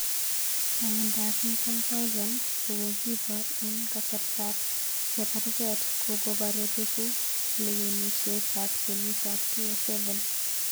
Chongindo ap pik 1000, kokokipar en kasartap cheparget kokopare peku lawenishet ap ngeyit ap 2007